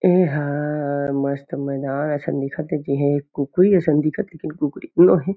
एहा मस्त मैदान असन दिखत हे जेहा कुकरी असन दिखत हे लेकिन कुकरी तो नो है।